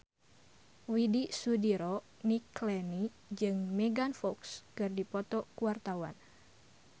Widy Soediro Nichlany jeung Megan Fox keur dipoto ku wartawan